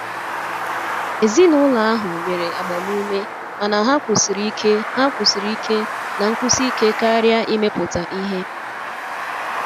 Ezinụlọ ahụ nyere agbamume mana ha kwusiri ike ha kwusiri ike na nkwusi ike karia imepụta ihe.